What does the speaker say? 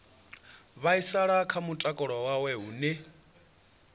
vhaisala kha mutakalo wawe hune